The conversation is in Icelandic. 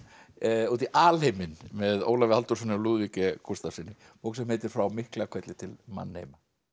út í alheiminn með Ólafi Halldórssyni og Lúðvíki Gústafssyni bók sem heitir frá Miklahvelli til mannheima